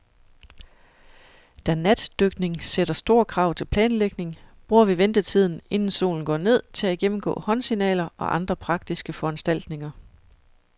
Da natdykning sætter store krav til planlægning, bruger vi ventetiden, inden solen går ned, til at gennemgå håndsignaler og andre praktiske foranstaltninger.